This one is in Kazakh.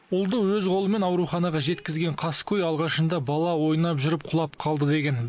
ұлды өз қолымен ауруханаға жеткізген қаскөй алғашында бала ойнап жүріп құлап қалды деген